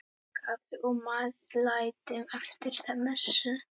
Kaffi og meðlæti eftir messu.